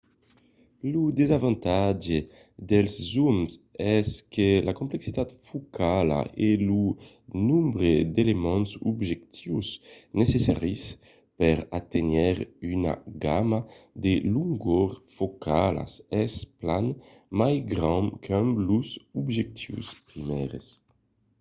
lo desavantatge dels zooms es que la complexitat focala e lo nombre d'elements d'objectius necessaris per aténher una gamma de longors focalas es plan mai grand qu'amb los objectius primièrs